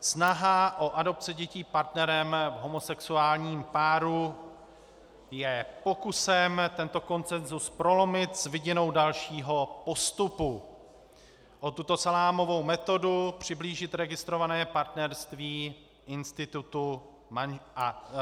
Snaha o adopci dětí partnerem v homosexuálním páru je pokusem tento konsenzus prolomit s vidinou dalšího postupu a takto salámovou metodou přiblížit registrované partnerství institutu manželství.